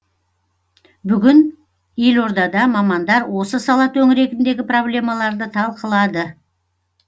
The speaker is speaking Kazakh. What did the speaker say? бүгін елордада мамандар осы сала төңірегіндегі проблемаларды талқылады